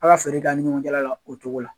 Ala feere kɛ ani ɲɔgɔncɛla la o cogo la.